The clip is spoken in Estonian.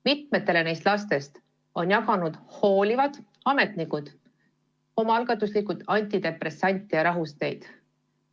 Mitmetele nendele lastele on hoolivad ametnikud omaalgatuslikult jaganud antidepressante ja rahusteid.